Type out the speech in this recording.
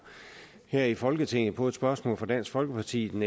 her i folketinget på et spørgsmål fra dansk folkeparti den